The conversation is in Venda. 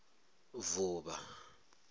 vuvha